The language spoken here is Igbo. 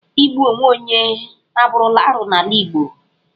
Igbu onwe onye abụrụla arụ n'ala Igbo.